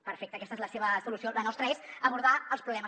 perfecte aquesta és la seva solució la nostra és abordar els problemes